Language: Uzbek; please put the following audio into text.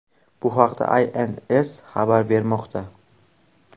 Bu haqda Inc. xabar bermoqda .